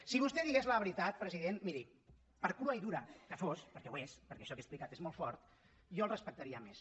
si vostè digués la veritat presi dent miri per crua i dura que fos perquè ho és perquè això que he explicat és molt fort jo el respectaria més